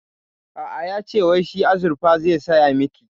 A'a, yace wai shi azurfa zai saya miki